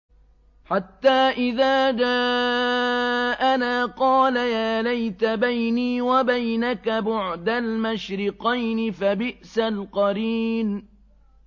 حَتَّىٰ إِذَا جَاءَنَا قَالَ يَا لَيْتَ بَيْنِي وَبَيْنَكَ بُعْدَ الْمَشْرِقَيْنِ فَبِئْسَ الْقَرِينُ